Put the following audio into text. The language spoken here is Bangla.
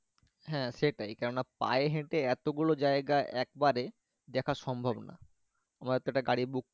হ্যাঁ সেটাই কেননা পায়ে হেটে এতোগুলো জায়গা একবারে দেখা সম্ভাৰ না।